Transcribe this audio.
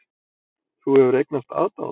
Þú hefur eignast aðdáanda.